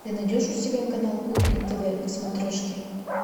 ты найдешь у себя канал кухня тв на смотрешке